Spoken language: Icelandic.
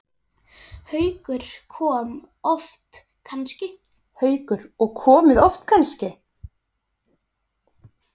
Haukur: Og komið oft kannski?